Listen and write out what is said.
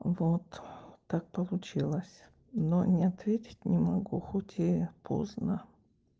вот так получилось но не ответить не могу хоть и поздно